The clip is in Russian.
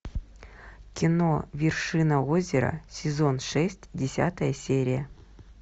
кино вершина озера сезон шесть десятая серия